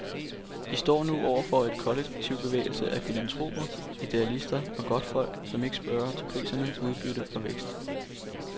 I står nu over for en kollektivbevægelse af filantroper, idealister og godtfolk, som ikke spørger til priser, udbytte og vækst.